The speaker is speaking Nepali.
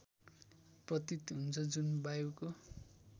प्रतीत हुन्छ जुन वायुको